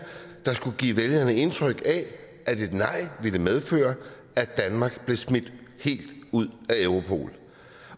der skulle give vælgerne indtryk af at et nej ville medføre at danmark blev smidt helt ud af europol